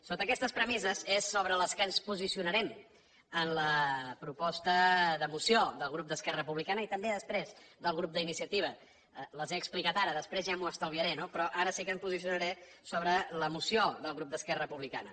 sota aquestes premisses és sobre les quals ens posicio narem en la proposta de moció del grup d’esquerra republicana i també després del grup d’inicia tiva les he explicat ara després ja m’ho estalviaré no però ara sí que em posicionaré sobre la moció del grup d’esquerra republicana